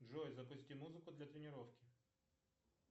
джой запусти музыку для тренировки